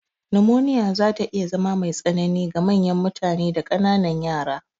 Numoniya zata iya zama me tsanini ga manyan mutane da ƙananan yara.